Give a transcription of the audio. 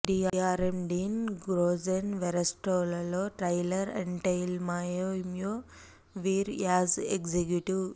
Deere ఎమ్ డీన్ గ్రోజెన్ వెర్లస్ట్ లో ట్రైలర్ అంటెయిల్నాహ్మె మ్యుమ్లో విర్ యాజ్ ఎగ్జిక్యూటివ్